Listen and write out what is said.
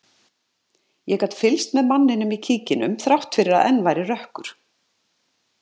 Ég gat fylgst með manninum í kíkinum þrátt fyrir að enn væri rökkur.